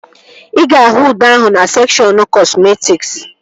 Ị ga-ahụ ude ahụ na sekshọn kọsmetịk